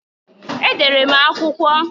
Edere m akwụkwọ.